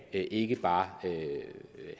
ikke bare af herre